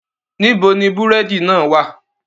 Nibo ni búrẹ́di náà wa?